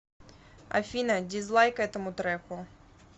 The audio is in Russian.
афина дизлайк этому треку